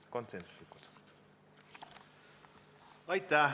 Aitäh!